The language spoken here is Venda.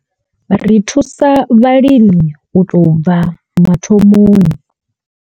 Ri thusa vhalimi u tou bva mathomoni.